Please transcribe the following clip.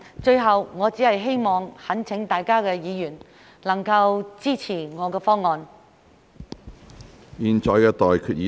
最後，我只想懇請各位議員能夠支持我的議案。